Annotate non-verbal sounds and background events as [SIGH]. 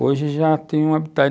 Hoje já tenho um [UNINTELLIGIBLE]